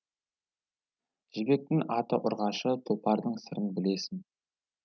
жібектің аты ұрғашы тұлпардың сырын білесің